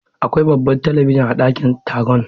Akwai babban talabijin a dakin taron.